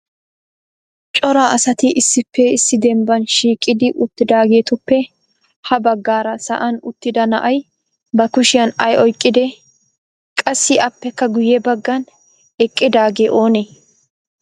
Cora asati issippe issi dembban shiiqidi uttidaageetuppe ha baggaara sa'an uttida na'ay ba kushiyaan ay oyqqide? Qassi appekka guyye baggan eqqidaagee oonee?